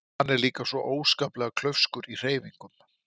Hann er líka svo óskaplega klaufskur í hreyfingum.